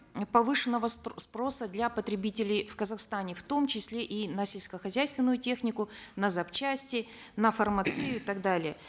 повышенного спроса для потребителей в казахстане в том числе и на сельскохозяйственную технику на запчасти на фармацию и так далее